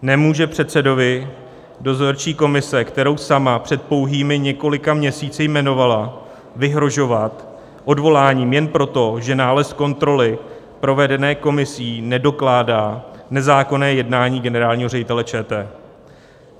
Nemůže předsedovi dozorčí komise, kterou sama před pouhými několika měsíci jmenovala, vyhrožovat odvoláním jen proto, že nález kontroly provedené komisí nedokládá nezákonné jednání generálního ředitele ČT.